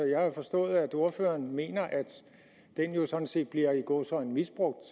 jo forstået at ordføreren mener at den jo sådan set bliver i gåseøjne misbrugt